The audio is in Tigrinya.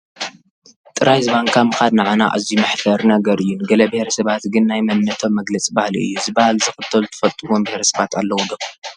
ጥራይ ዝባንካ ምኻድ ንዓና ኣዝዩ መሕፈሪ ነገር እዩ፡፡ ንገለ ብሄረሰባት ግን ናይ መንነቶም መግለፂ ባህሊ እዩ፡፡ እዚ ባህሊ ዝኽተሉ ትፈልጡዎም ብሄረ ሰባት ኣለዉ ዶ?